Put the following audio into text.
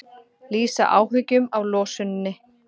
Lýsa áhyggjum af losuninni